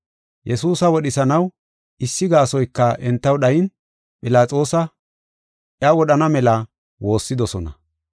Yesuusa wodhisanaw issi gaasoyka entaw dhayin Philaxoosi iya wodhana mela woossidosona.